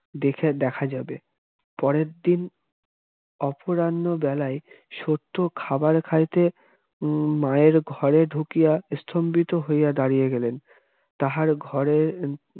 দেখে দেখা যাবে পরের দিন অপরাহ্ণবেলায় সত্য খাবার খাইতে হম মায়ের ঘরে ঢুকিয়াই স্তম্ভিত হইয়া দাঁড়িয়ে গেলেন তাহার ঘরের